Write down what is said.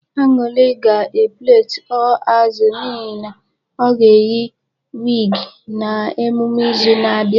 Anuli ga plait 'all azụ' n'ihi na ọ ga-eyi a wig na emume izu na-abịa